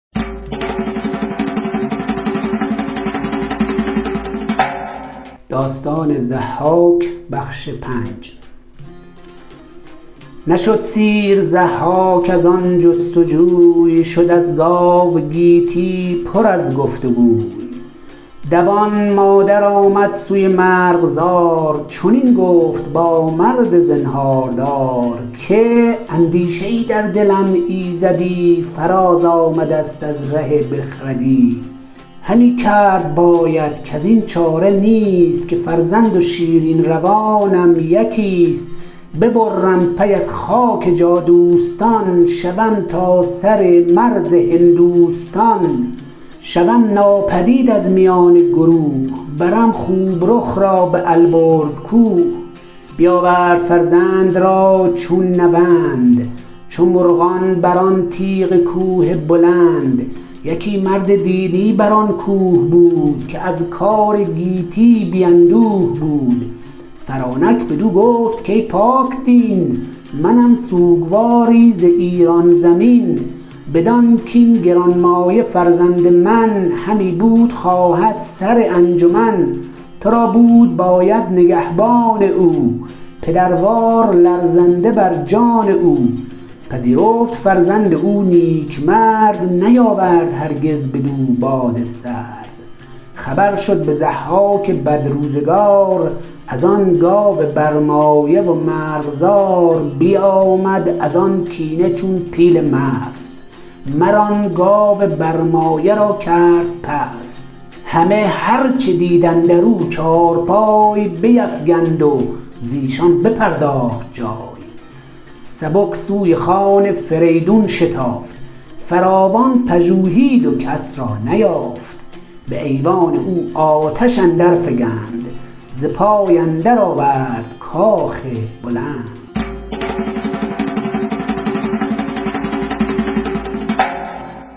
نشد سیر ضحاک از آن جست جوی شد از گاو گیتی پر از گفت گوی دوان مادر آمد سوی مرغزار چنین گفت با مرد زنهاردار که اندیشه ای در دلم ایزدی فراز آمده ست از ره بخردی همی کرد باید کزین چاره نیست که فرزند و شیرین روانم یکیست ببرم پی از خاک جادوستان شوم تا سر مرز هندوستان شوم ناپدید از میان گروه برم خوب رخ را به البرز کوه بیاورد فرزند را چون نوند چو مرغان بر آن تیغ کوه بلند یکی مرد دینی بر آن کوه بود که از کار گیتی بی اندوه بود فرانک بدو گفت کای پاکدین منم سوگواری ز ایران زمین بدان کاین گرانمایه فرزند من همی بود خواهد سر انجمن تو را بود باید نگهبان او پدروار لرزنده بر جان او پذیرفت فرزند او نیکمرد نیاورد هرگز بدو باد سرد خبر شد به ضحاک بدروزگار از آن گاو برمایه و مرغزار بیامد از آن کینه چون پیل مست مر آن گاو برمایه را کرد پست همه هر چه دید اندر او چارپای بیفگند و زیشان بپرداخت جای سبک سوی خان فریدون شتافت فراوان پژوهید و کس را نیافت به ایوان او آتش اندر فگند ز پای اندر آورد کاخ بلند